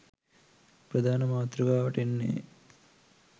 ප්‍රධාන මාතෘකාවට එන්නේ.